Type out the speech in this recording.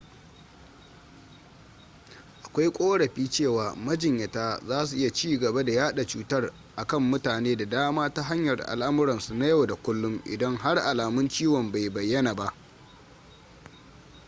akwai korafi cewa majinyatan zasu iya cigaba da yada cutar a kan mutane da dama ta hanyar alamuransu na yau da kullum idan har alamun ciwon bai bayana ba